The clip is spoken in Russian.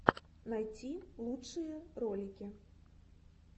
найти лучшие ролики